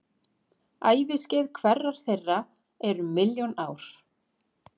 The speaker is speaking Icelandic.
Æviskeið hverrar þeirra er um milljón ár.